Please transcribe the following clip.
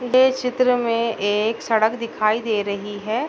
ये चित्र में एक सड़क दिखाई दे रही है।